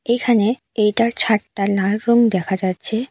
এইখানে এইটার ছাদটা লাল রং দেখা যাচ্ছে।